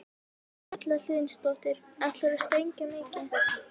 Erla Hlynsdóttir: Ætlarðu að sprengja mikið?